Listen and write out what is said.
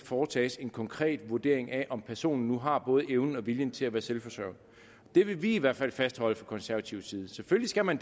foretages en konkret vurdering af om personen nu har både evnen og viljen til at være selvforsørgende det vil vi i hvert fald fastholde fra konservativ side selvfølgelig skal man